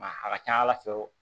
Maa a ka ca ala fɛ